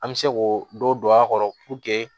An bɛ se k'o dɔ don a kɔrɔ